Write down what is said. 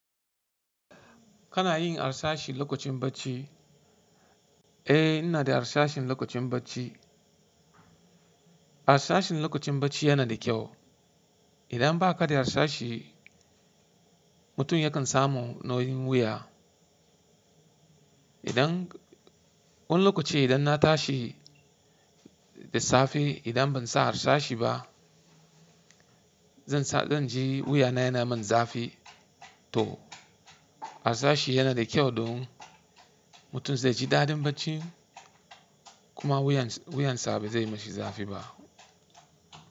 Kana yin harsashi lokacin bacci? Eh, ina da harsashin lokacin bacci. Harsashin lokacin bacci yana da kyau. Idan ba ka da sashi, mutum yakan samu nauyin wuya. Idan, wani lokaci idan na tashi da safe, idan ban sa harsashi ba, zan ji wuyana yana min zafi to harsashi yana da kyau don mutum zai ji daɗin bacci kuma wuyansa ba zai mishi zafi ba.